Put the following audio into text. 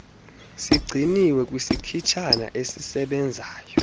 sigcinwe kwisikhitshana esisebenzayo